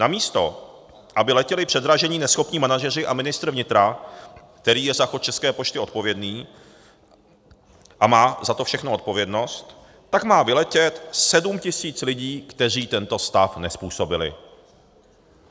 Místo aby letěli předražení neschopní manažeři a ministr vnitra, který je za chod České pošty odpovědný a má za to všechno odpovědnost, tak má vyletět 7 tis. lidí, kteří tento stav nezpůsobili.